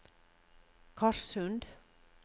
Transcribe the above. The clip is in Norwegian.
Korssund